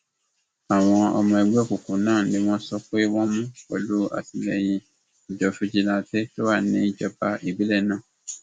àwọn ọmọ ẹgbẹ òkùnkùn náà ni wọn sọ pé wọn mú pẹlú àtìlẹyìn àjọ fìjìláńtẹ tó wà níjọba ìbílẹ náà